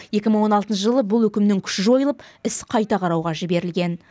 екі мың он алтыншы жылы бұл үкімнің күші жойылып іс қайта қарауға жіберілген